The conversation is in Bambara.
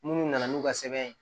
Munnu nana n'u ka sɛbɛn ye